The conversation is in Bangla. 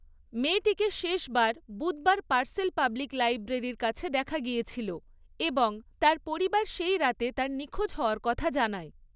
মেয়েটিকে শেষবার বুধবার পার্সেল পাবলিক লাইব্রেরির কাছে দেখা গিয়েছিল এবং তার পরিবার সেই রাতে তার নিখোঁজ হওয়ার কথা জানায়।